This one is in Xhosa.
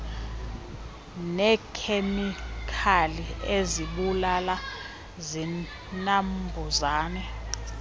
neekhemikali izibulala zinambuzane